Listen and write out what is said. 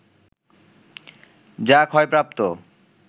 যা ক্ষয়প্রাপ্ত